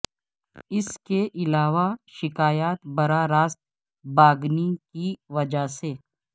اس کے علاوہ شکایات براہ راست باگنی کی وجہ سے